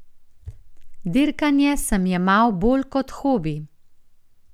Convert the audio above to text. Dirkanje sem jemal bolj kot hobi.